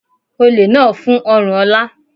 Olè náà fún ọrùn Ola.